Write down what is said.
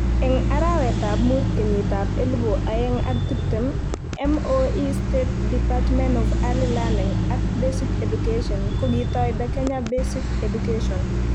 Eng arawetab muut kenyitab elebu oeng ak tiptem ,MoE State Department of Early Learning ak Basic Education kokitoi the Kenya Basic Education